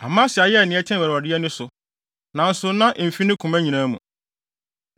Amasia yɛɛ nea ɛteɛ wɔ Awurade ani, nanso na emfi ne koma nyinaa mu.